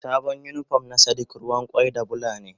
Sabon unipon na sadiq ruwan kwai da Bula ne.